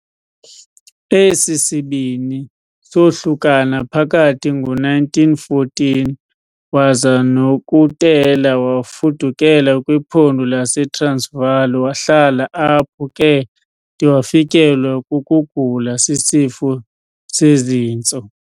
Esi sibini soohlukana phakathi ngo-1914, waza Nokutela wafudukela kwiPhondo laseTransvaal wahlala apho ke de wafikelwa kukugula sisifo sezintso.